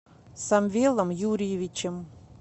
самвелом юрьевичем